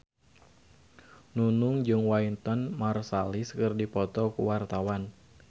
Nunung jeung Wynton Marsalis keur dipoto ku wartawan